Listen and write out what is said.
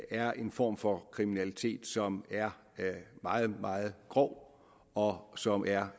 er en form for kriminalitet som er meget meget grov og som er